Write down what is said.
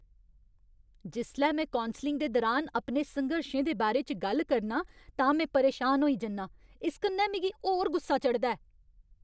जिसलै में कौंसलिंग दे दुरान अपने संघर्शें दे बारे च गल्ल करनां तां में परेशान होई जन्नां। इस कन्नै मिगी होर गुस्सा चढ़दा ऐ।